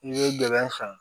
I bɛ gɛlɛn san